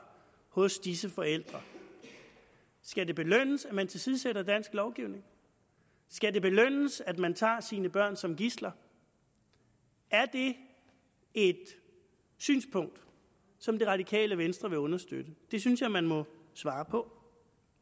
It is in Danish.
hos disse forældre skal det belønnes at man tilsidesætter dansk lovgivning skal det belønnes at man tager sine børn som gidsler er det et synspunkt som det radikale venstre vil understøtte det synes jeg man må svare på